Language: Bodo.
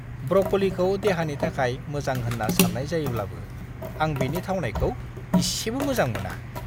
ब्रक'लिखौ देहानि थाखाय मोजां होन्ना सान्नाय जायोब्लाबो आं बेनि थावनायखौ एसेबो मोजां मोना!